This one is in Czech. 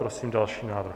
Prosím další návrh.